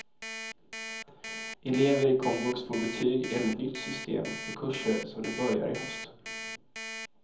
Elever i komvux får betyg enligt nytt system på kurser som de börjar i höst.